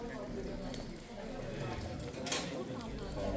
Qardaş, nə qədər?